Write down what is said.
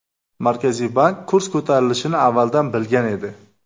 Markaziy bank kurs ko‘tarilishini avvaldan bilgan edi.